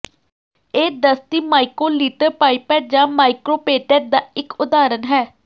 ਇਹ ਦਸਤੀ microlitre pipette ਜਾਂ ਮਾਈਕ੍ਰੋਪੇਟੈੱਟ ਦਾ ਇੱਕ ਉਦਾਹਰਨ ਹੈ